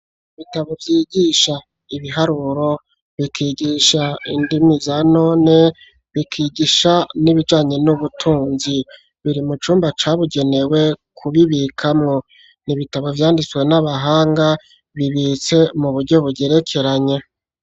Ibitabo vyigisha ibiharuro bikigisha indimi zanone bikigisha n'ibijanye n'ubutunzi biri mu cumba cabugenewe kubibika mwo ni ibitabo vyanditswe n'abahanga bibitse mu buryo bugerekeranye.